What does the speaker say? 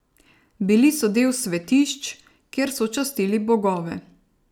Bili so del svetišč, kjer so častili bogove.